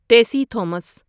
Tessy Thomas